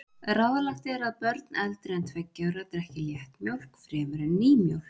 Ráðlagt er að börn eldri en tveggja ára drekki léttmjólk fremur en nýmjólk.